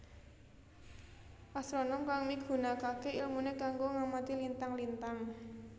Astronom kang migunakaké ilmuné kanggo ngamati lintang lintang